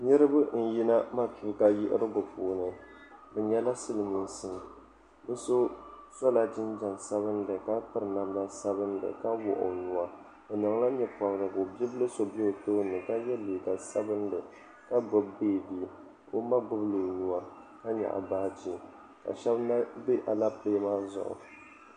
Niriba n yina matuuka yiɣirigu puuni bɛ nyɛla silimiinsi bɛ so sola jinjiɛm sabinli ka piri namda sabinli ka wuɣi o nua o niŋla nyɛpobrigu bia bili so be o tooni ka ye liiga sabinli ka gbibi beebi ka o ma gbibi o nua ka nyaɣi baaji ka sheba na be Alapilee maa zuɣu.